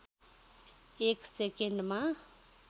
एक सेकन्डमा